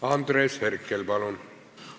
Andres Herkel, palun!